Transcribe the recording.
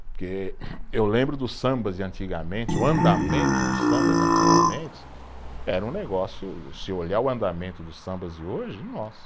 Porque eu lembro dos sambas de antigamente, o andamento dos sambas de antigamente, era um negócio, se olhar o andamento dos sambas de hoje, nossa.